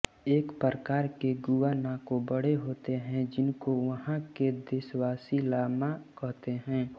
एक प्रकार के गुआनाको बड़े होते हैं जिनको वहाँ के देशवासी लामा कहते हैं